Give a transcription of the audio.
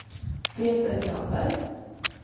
Peter Granberg